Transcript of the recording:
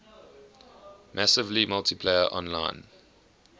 massively multiplayer online